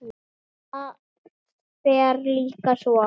Það fer líka svo.